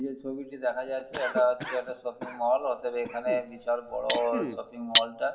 যে ছবিটি দেখা যাচ্ছে সেটা হচ্ছে একটা শপিং মল । অতএব বিশাল বড় শপিং মল টা--